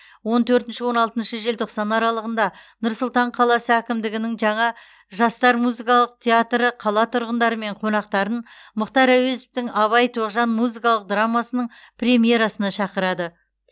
он төртінші он алтыншы желтоқсан аралығында нұр сұлтан қаласы әкімдігінің жаңа жастар музыкалық театры қала тұрғындары мен қонақтарын мұхтар әуезовтің абай тоғжан музыкалық драмасының премьерасына шақырады